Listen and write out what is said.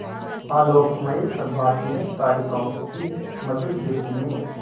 आलोकमय प्रभात में तारिकाओं की मधुर ज्योति में